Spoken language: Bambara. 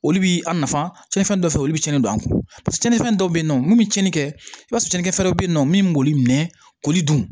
Olu bi a nafa tiɲɛnfɛn dɔ fɛ olu be cɛnnin don a kun tiɲɛnifɛn dɔw be yen nɔ mun bi cɛnni kɛ i b'a sɔrɔ cɛnin fɛn dɔ be yen nɔ min b'olu mɛn k'olu dun